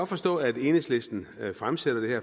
forstå at enhedslisten fremsætter det her